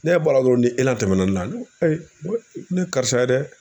Ne bɔra dɔrɔn ni tɛmɛna ne na ne ko ayi n ko nin ye karisa ye dɛ